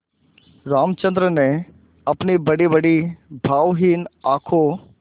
रामचंद्र ने अपनी बड़ीबड़ी भावहीन आँखों